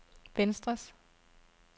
venstres